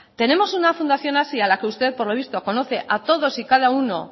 tenemos una fundación hazi a la que usted por lo visto conoce a todos y cada uno